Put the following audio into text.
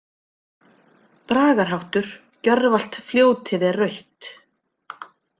Bragarháttur: „Gjörvallt fljótið er rautt“.